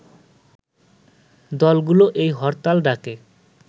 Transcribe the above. দলগুলো এই হরতাল ডাকে